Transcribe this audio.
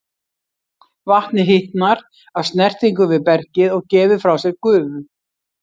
Vatnið hitnar af snertingu við bergið og gefur frá sér gufu.